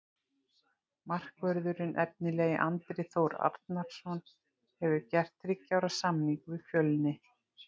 Markvörðurinn efnilegi Andri Þór Arnarson hefur gert þriggja ára samning við Fjölni.